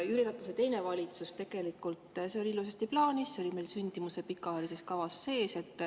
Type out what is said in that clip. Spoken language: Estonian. Jüri Ratase teisel valitsusel oli see tegelikult ilusasti plaanis, see oli meil sündimuse pikaajalises kavas sees.